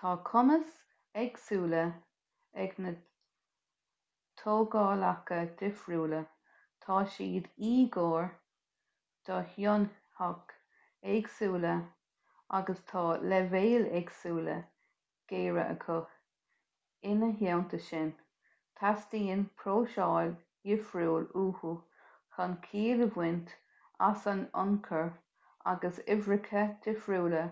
tá cumais éagsúla ag na tógálacha difriúla tá siad íogair do thonnfhaid éagsúla agus tá leibhéil éagsúla géire acu ina theanta sin teastaíonn próiseáil dhifriúil uathu chun ciall a bhaint as an ionchur agus uimhreacha difriúla